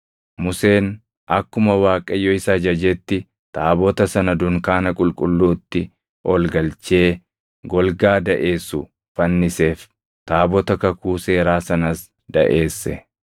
Museen akkuma Waaqayyo isa ajajetti taabota sana dunkaana qulqulluutti ol galchee golgaa daʼeessu fanniseef; taabota kakuu seeraa sanas daʼeesse.